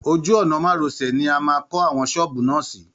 Ojú ọ̀nà márosẹ̀ ni a máa kọ́ àwọn ṣọ́ọ̀bù na sí